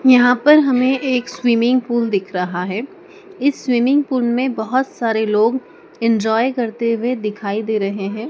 यहाँ पर हमें एक स्विमिंग पूल दिख रहा है इस स्विमिंग पूल में बहोत सारे लोग इंजॉय करते हुए दिखाई दे रहे हैं।